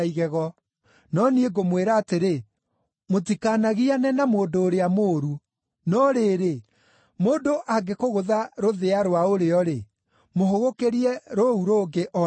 No niĩ ngũmwĩra atĩrĩ: Mũtikanagiane na mũndũ ũrĩa mũũru. No rĩrĩ, mũndũ angĩkũgũtha rũthĩa rwa ũrĩo-rĩ, mũhũgũkĩrie rũu rũngĩ o naruo.